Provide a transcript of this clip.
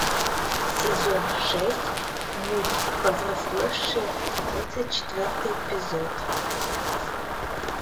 сезон шесть мульт повзрослевшие тридцать четвертый эпизод